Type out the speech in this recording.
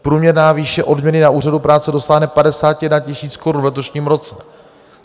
Průměrná výše odměny na úřadu práce dosáhne 51 000 korun v letošním roce.